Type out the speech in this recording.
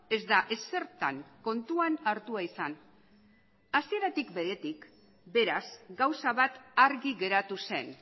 ez da ezertan kontuan hartua izan hasieratik beretik beraz gauza bat argi geratu zen